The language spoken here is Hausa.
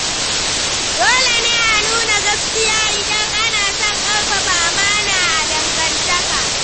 Dole ne a nuna gaskiya idan ana son ƙarfafa amana a dangantaka.